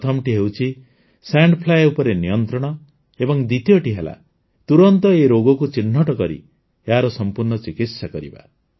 ପ୍ରଥମଟି ହେଉଛି sand fly ଉପରେ ନିୟନ୍ତ୍ରଣ ଏବଂ ଦ୍ୱିତୀୟଟି ହେଲା ତୁରନ୍ତ ଏହି ରୋଗକୁ ଚିହ୍ନଟ କରି ଏହାର ସମ୍ପୂର୍ଣ୍ଣ ଚିକିତ୍ସା କରିବା